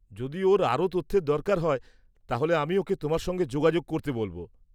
যদি ওর আরও তথ্যের দরকার হয়, তাহলে আমি ওকে তোমার সঙ্গে যোগাযোগ করতে বলব।